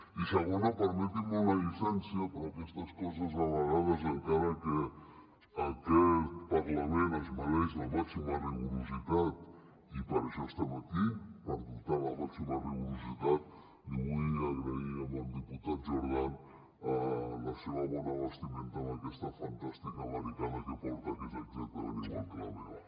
i segona permetin me una llicència però aquestes coses a vegades encara que aquest parlament es mereix el màxim rigor i per això estem aquí per dotar lo del màxim rigor li vull agrair al diputat jordan la seva bona vestimenta amb aquesta fantàstica americana que porta que és exactament igual que la meva